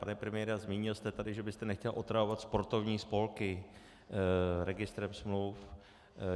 Pane premiére, zmínil jste tady, že byste nechtěl otravovat sportovní spolky registrem smluv.